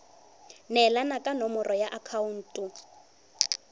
neelana ka nomoro ya akhaonto